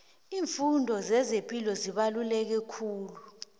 iimfundo zezepilo zibaluleke kakhulu